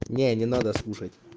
не не надо слушать